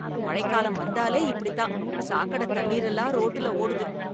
மழைக்காலம் வந்தாலே இப்படித்தான், சாக்கடத் தண்ணீர் எல்லாம் , ரோட்டில் ஓடுது.